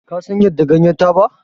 Kasan yadda ganyar taba?